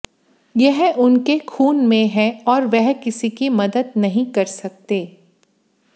यह उनके खून में है और वह किसी की मदद नहीं कर सकते